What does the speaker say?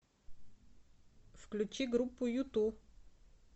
включи группу юту